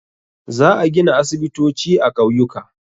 Za a gina aisibitoci a ƙauyuka.